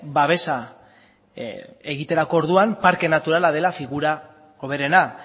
babesa egiterako orduan parke naturala dela figura hoberena